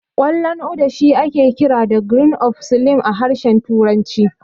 Ƙwallon Uda shi ake kira da "Grains of Slim" a harshen turanci.